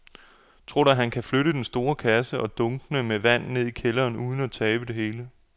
Tror du, at han kan flytte den store kasse og dunkene med vand ned i kælderen uden at tabe det hele?